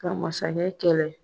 Ka mansakɛ kɛlɛ